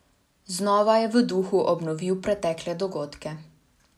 Znova je v duhu obnovil pretekle dogodke.